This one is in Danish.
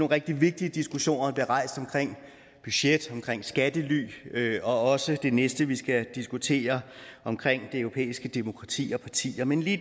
rigtig vigtige diskussioner der bliver rejst omkring budget omkring skattely og også det næste vi skal diskutere omkring det europæiske demokrati og partier men lige